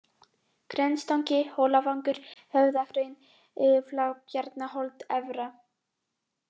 Grenstangi, Hólavangur, Höfðahraun, Flagbjarnarholt Efra